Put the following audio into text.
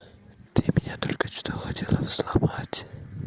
ты меня только что хотела взломать